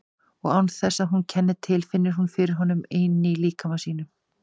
Og án þess að hún kenni til finnur hún fyrir honum inní líkama sínum.